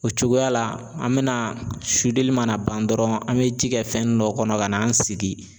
O cogoya la an bɛna mana ban dɔrɔn an bɛ ji kɛ fɛn dɔ kɔnɔ ka n'an sigi.